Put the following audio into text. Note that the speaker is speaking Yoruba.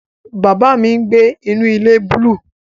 Baba mi ngbe inu ile buluu